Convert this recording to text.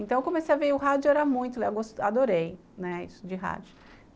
Então, eu comecei a ver o rádio, eu era muito, eu adorei, né, isso de rádio.